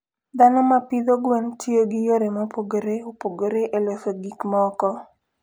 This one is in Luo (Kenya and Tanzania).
Dhano ma pidho gwen tiyo gi yore mopogore opogore e loso gik moko.